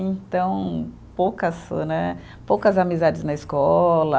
Então, poucas né, poucas amizades na escola.